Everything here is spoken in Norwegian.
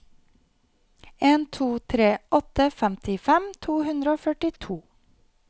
en to tre åtte femtifem to hundre og førtito